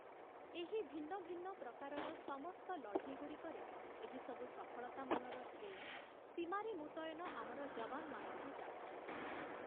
ଏହି ଭିନ୍ନ ଭିନ୍ନ ପ୍ରକାରର ସମସ୍ତ ଲଢ଼େଇଗୁଡ଼ିକରେ, ଏହିସବୁ ସଫଳତା ମାନର ଶ୍ରେୟ ସୀମାରେ ମୁତୟନ ଆମର ଯବାନମାନଙ୍କୁ ଯାଉଛି ।